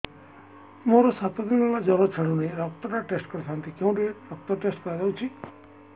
ମୋରୋ ସାତ ଦିନ ହେଲା ଜ୍ଵର ଛାଡୁନାହିଁ ରକ୍ତ ଟା ଟେଷ୍ଟ କରିଥାନ୍ତି କେଉଁଠି ରକ୍ତ ଟେଷ୍ଟ କରା ଯାଉଛି